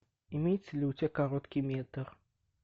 имеется ли у тебя короткий метр